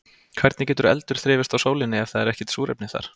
Hvernig getur eldur þrifist á sólinni ef það er ekkert súrefni þar?